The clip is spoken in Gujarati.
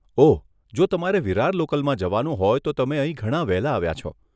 ઓહ, જો તમારે વિરાર લોકલમાં જવાનું હોય તો તમે અહીં ઘણાં વહેલા આવ્યાં છો.